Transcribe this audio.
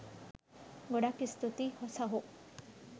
ගොඩක් ස්තුති සහෝ